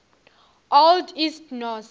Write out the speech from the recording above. old east norse